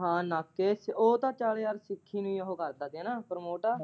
ਹਾਂ ਨਾਕੇ ਉਹ ਤਾਂ ਚਲ ਯਾਰ ਸੁੱਖੀ ਓ ਕਰਦਾ ਹੀ ਨਾ ਪ੍ਰਮੋਤਾ ।